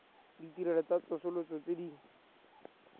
ditirelo tsa tsosoloso tse di